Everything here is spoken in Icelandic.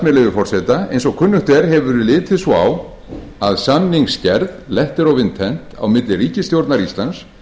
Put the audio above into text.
leyfi forseta eins og kunnugt er hefur verið litið svo á að samningsgerð letter of winten á milli ríkisstjórnar íslands